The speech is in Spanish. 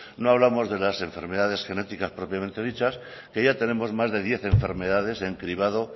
no hablamos de las enfermedades genéticas propiamente dichas que ya tenemos más de diez enfermedades en cribado